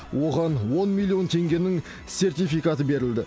оған он миллион теңгенің сертификаты берілді